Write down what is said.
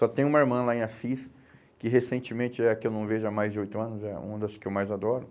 Só tenho uma irmã lá em Assis, que recentemente é a que eu não vejo há mais de oito anos, é uma das que eu mais adoro.